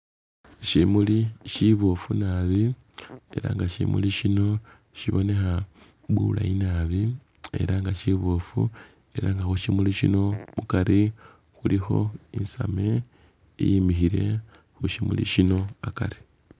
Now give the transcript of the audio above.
Shimuli shiboofu naabi era nga shimuli shino shibonekha bulayi naabi era nga shiboofu era nga khu shimuli shino mukari khulikho isame iyimikhile khu shimuli shino akari